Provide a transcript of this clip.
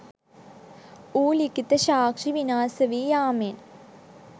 වූ ලිඛිත සාක්ෂි විනාශවී යාමෙන්